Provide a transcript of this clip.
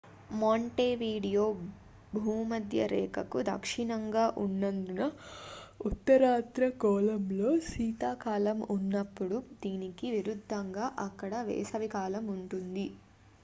Montevideo భూమధ్యరేఖకు దక్షిణంగా ఉన్నందున ఉత్తరార్ధగోళంలో శీతాకాలం ఉన్నప్పుడు దీనికి విరుద్దంగా అక్కడ వేసవి కాలం ఉంటుంది